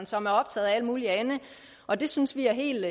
som er optaget af alt muligt andet og det synes vi er helt